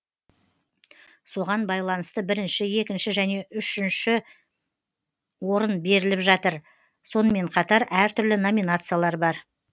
соған байланысты бірінші екінші және үшін орын беріліп жатыр сонымен қатар әртүрлі номинациялар бар